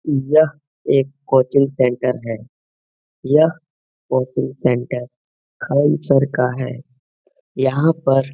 यह एक coaching centre है। यह कोचिंग सेन्टर खान सर का है। यहाँ पर --